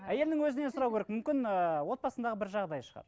әйелінің өзінен сұрауы керек мүмкін ііі отбасындағы бір жағдай шығар